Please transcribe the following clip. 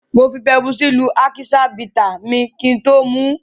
Mo fi pepusí lú ákíṣán bità mi kí n tó mu ú.